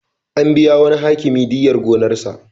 An biya wani Hakimi diyyar gonarsa.